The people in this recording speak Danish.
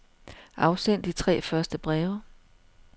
Afsend de tre første breve.